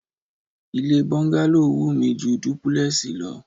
Ilé bọ́ńgálò wù mí ju dúpúlẹ́ẹ̀sì lọ